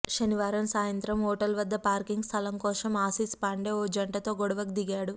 శనివారం సాయంత్రం హోటల్వద్ద పార్కింగ్ స్థలం కోసం ఆశిశ్ పాండే ఓ జంటతో గొడవకు దిగాడు